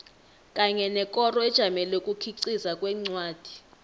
kanye nekoro ejamele ukukhiqiza kwencwadi